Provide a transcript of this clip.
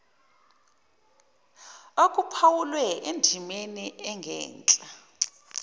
okuphawulwe endimeni engenhla